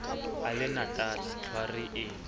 a le natala tlhware e